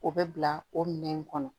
O bɛ bila o minɛn in kɔnɔ